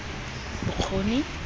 bokgoni